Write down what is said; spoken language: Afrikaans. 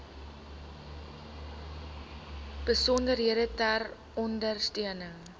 besonderhede ter ondersteuning